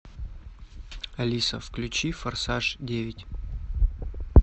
алиса включи форсаж девять